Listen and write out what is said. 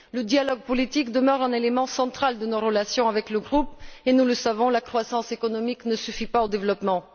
Le dialogue politique demeure un élément central de nos relations avec ce groupe et, nous le savons, la croissance économique ne suffit pas au développement.